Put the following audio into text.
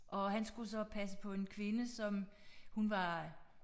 Og han skulle så passe på en kvinde som hun var